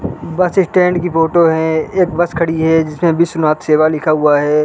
Bus stand की photo है एक बस खड़ी है जिसमें विश्वनाथ सेवा लिखा हुआ है।